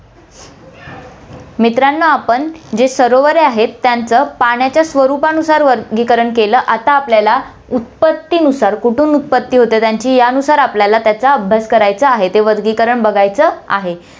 मित्रांनो, आपण जे सरोवरे आहेत, त्याचं पाण्याच्या स्वरूपानुसार वर्गीकरण केलं, आता आपल्याला उत्पत्तिनुसार, कुठून उत्पत्ति होते त्यांची, यानुसार त्यांचा आपल्याला अभ्यास करायचा आहे, ते वर्गीकरण बघायचं आहे.